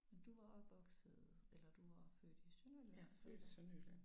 Du var opvokset eller du var født i Sønderjylland?